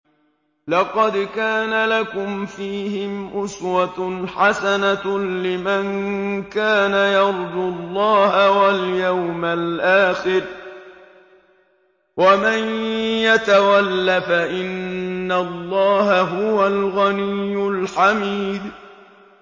لَقَدْ كَانَ لَكُمْ فِيهِمْ أُسْوَةٌ حَسَنَةٌ لِّمَن كَانَ يَرْجُو اللَّهَ وَالْيَوْمَ الْآخِرَ ۚ وَمَن يَتَوَلَّ فَإِنَّ اللَّهَ هُوَ الْغَنِيُّ الْحَمِيدُ